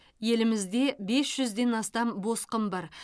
елімізде бес жүзден астам босқын бар